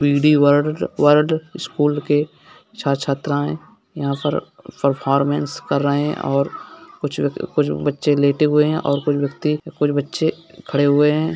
BD world world school के छात्र छात्राएं यहाँ पर परफॉरमेंस कर रहें है और कुछ कुछ बच्चे लेटे हुए है और कुछ बच्चे कुछ बच्चे खड़े हुए हैं।